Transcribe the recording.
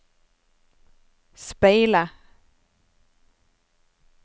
speile